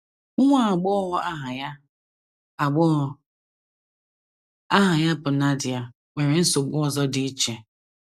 Nwa agbọghọ aha ya agbọghọ aha ya bụ Nadia nwere nsogbu ọzọ dị iche.